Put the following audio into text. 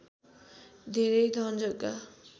धेरै धन जग्गा